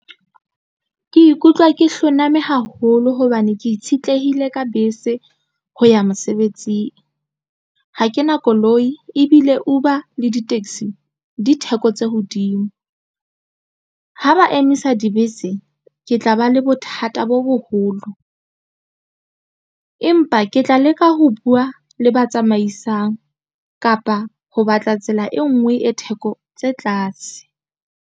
Ke ikutlwa ke hloname haholo hobane ke itshetlehile ka bese ho ya mosebetsing ha ke na koloi ebile Uber le di-taxi di theko tse hodimo ha ba emisa dibese ke tla ba le bothata bo boholo empa ke tla leka ho buwa le ba tsamaisang kapa ho batla tsela e nngwe e theko tse tlase.